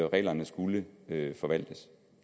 reglerne skulle forvaltes